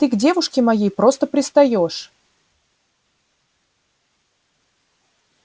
ты к девушке моей просто пристаёшь